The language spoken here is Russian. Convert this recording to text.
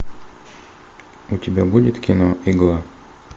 у тебя будет кино игла